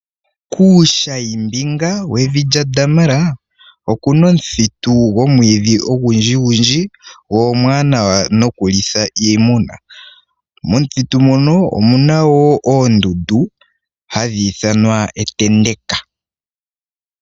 Kuushayi mbinga wevi lyaDamara, okuna omuthitu gwomwiidhi ogundji gundji, go omwaanawa nokulitha iimuna. Momuthitu mono omuna wo oondundu, hadhi ithanwa etendeka.